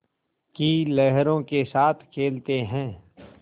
की लहरों के साथ खेलते हैं